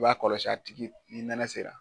I b'a kɔlɔsi a tigi ni nɛnɛ sera